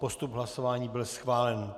Postup hlasování byl schválen.